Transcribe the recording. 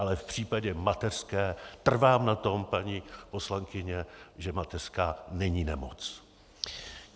Ale v případě mateřské trvám na tom, paní poslankyně, že mateřská není nemoc.